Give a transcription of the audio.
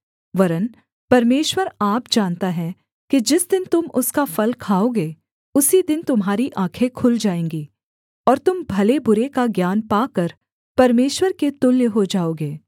वरन् परमेश्वर आप जानता है कि जिस दिन तुम उसका फल खाओगे उसी दिन तुम्हारी आँखें खुल जाएँगी और तुम भले बुरे का ज्ञान पाकर परमेश्वर के तुल्य हो जाओगे